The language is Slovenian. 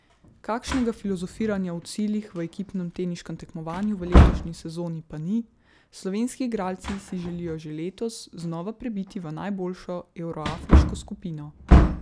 Kakšnega filozofiranja o ciljih v ekipnem teniškem tekmovanju v letošnji sezoni pa ni, slovenski igralci si želijo že letos znova prebiti v najboljšo evroafriško skupino.